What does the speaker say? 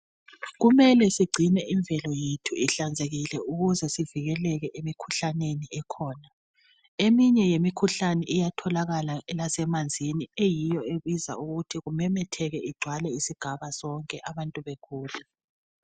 Kumele sigcine imvelo yethu ihlanzekile ukuze sivikeleke emikhuhlaneni ekhona. Eminye yemikhuhlane iyatholakala lasemanzini eyiyo ebizayo ukuthi kumemetheke igcwale isigaba sonke abantu begule.